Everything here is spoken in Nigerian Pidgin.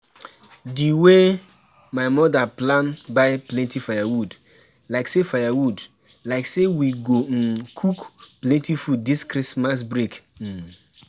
di wey my mother plan buy plenty firewood, like say firewood, like say we go um cook plenty food this Christmas break um